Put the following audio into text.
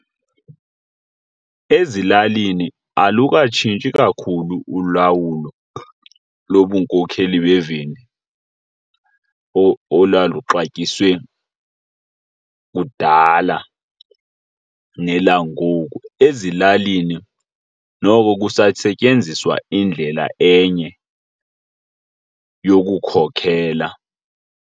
Ezilalini alukatshintshi kakhulu ulawulo lobunkokheli bemveli olwaluxatyiswe kudala nelangoku. Ezilalini noko kusasetyenziswa indlela enye yokukhokhela.